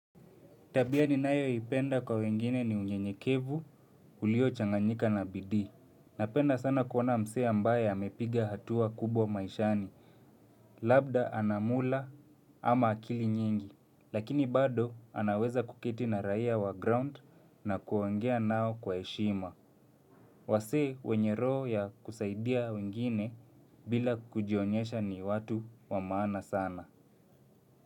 Tabia ninayo ipenda kwa wengine ni unyenyekevu ulio changanyika na bidii. Napenda sana kuona mse ambaye amepiga hatua kubwa maishani. Labda anamula ama akili nyingi. Lakini bado anaweza kuketi na raia wa ground na kuongea nao kwa heshima. Wasee wenye roho ya kusaidia wengine bila kujionyesha ni watu wa maana sana.